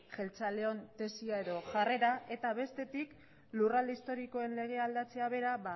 jeltzaleon tesia edo jarrera eta bestetik lurralde historikoen legea aldatzea bera